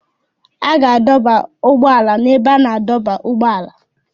A ga-adọba ụgbọ ala n'ebe a na-adọba ụgbọala.